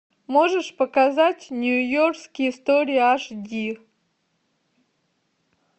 можешь показать нью йоркские истории аш ди